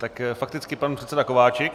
Tak fakticky pan předseda Kováčik.